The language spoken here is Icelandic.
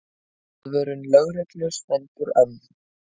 Aðvörun lögreglu stendur enn.